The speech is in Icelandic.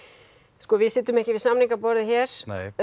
sko við setjum ekki við samningaborðið hér